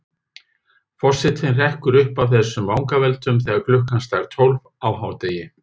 Forsetinn hrekkur upp af þessum vangaveltum þegar klukkan slær tólf á hádegi.